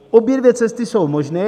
Obě dvě cesty jsou možné.